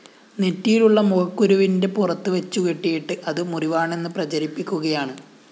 നെറ്റിയിലുള്ള മുഖക്കുരുവിന്റെ പുറത്ത് വച്ചുകെട്ടിയിട്ട് അത് മുറിവാണെന്ന് പ്രചരിപ്പിക്കുകയാണ്